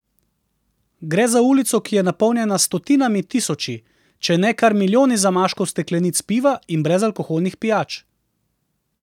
Gre za ulico, ki je napolnjena s stotinami tisoči, če ne kar milijoni zamaškov steklenic piva in brezalkoholnih pijač.